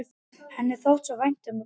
Henni þótti svo vænt um pabba sinn.